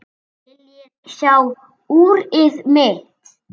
Viljiði sjá úrið mitt?